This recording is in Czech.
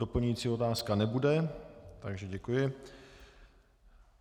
Doplňující otázka nebude, takže děkuji.